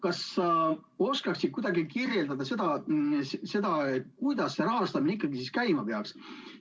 Kas sa oskaksid kuidagi kirjeldada seda, kuidas see rahastamine ikkagi käima peaks?